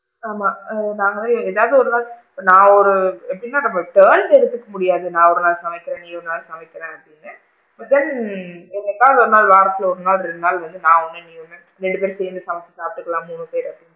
ஆமா, நாங்க ஏதாவது ஒரு நாள் நான் ஒரு எப்படின்னா நாம turn எடுத்துக்க முடியாது நாள் ஒரு நாள் சமைக்கிறேன் நீ ஒரு நாள் சமைக்கிறேன் அப்படின்னு but then என்னைக்காவது ஒரு நாள் வாரத்துல ஒரு நாள் ரெண்டு நாள் வந்து நான் ஒன்னு நீங ஒன்னு இல்ல நம்ம ரெண்டு பேரு சேர்ந்து சமைச்சு சாப்டுக்கலாம் மூணு பேரு,